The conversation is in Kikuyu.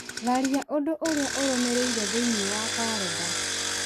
tharia ũndũ ũrĩa ũrũmĩrĩire thĩinĩe wa karenda